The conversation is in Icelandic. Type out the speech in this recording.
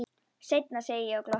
Seinna, segi ég og glotti.